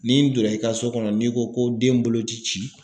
N'i n donna i ka so kɔnɔ n'i ko ko den bolo ti ci